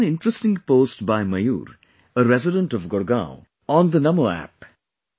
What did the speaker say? I saw an interesting post by Mayur, a resident of Gurgaon, on the NaMo App